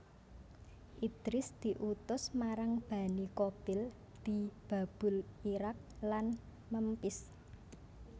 Idris diutus marang Bani Qabil di Babul Iraq lan Memphis